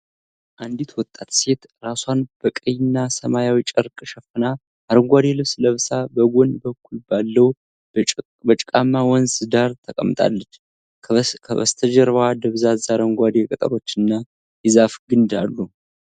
አንዲት ወጣት ሴት ራሷን በቀይና ሰማያዊ ጨርቅ ሸፍና፣ አረንጓዴ ልብስ ለብሳ በጎን በኩል ባለው በጭቃማ ወንዝ ዳር ተቀምጣለች። ከበስተጀርባው ደብዛዛ አረንጓዴ ቅጠሎችና የዛፍ ግንድ አሉ።